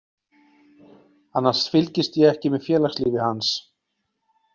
Annars fylgist ég ekki með félagslífi hans.